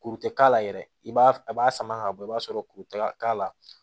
Kuru tɛ k'a la yɛrɛ i b'a a b'a sama ka bɔ i b'a sɔrɔ kuruta k'a la